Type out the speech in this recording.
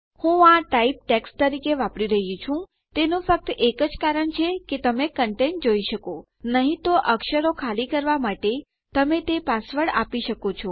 હું આ type text તરીકે વાપરી રહ્યી છું તેનું ફક્ત એક જ કારણ છે કે તમે કંટેટ ઘટકો જોઈ શકો નહી તો અક્ષરો ખાલી કરવાં માટે તમે તે પાસવર્ડ આપી શકો છો